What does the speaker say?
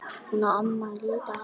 Hún á afmæli í dag.